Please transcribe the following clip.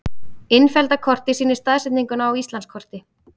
Innfellda kortið sýnir staðsetninguna á Íslandskorti.